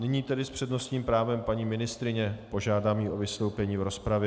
Nyní tedy s přednostním právem paní ministryně, požádám ji o vystoupení v rozpravě.